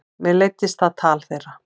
Mér leiddist það tal þeirra.